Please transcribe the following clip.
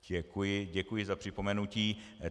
Děkuji za připomenutí.